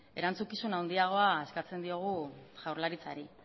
erantzukizun handiagoa eskatzen diogu jaurlaritzari